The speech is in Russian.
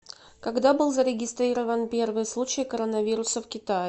когда был зарегистрирован первый случай коронавируса в китае